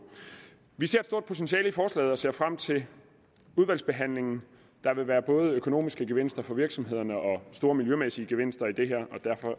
vi ser et stort potentiale i forslaget og ser frem til udvalgsbehandlingen der vil være både økonomiske gevinster for virksomhederne og store miljømæssige gevinster i det her